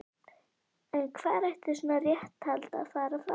En hvar ætti svona réttarhald að fara fram?